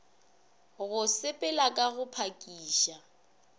go sepela ka go phakiša